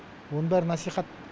оның бәрі насихат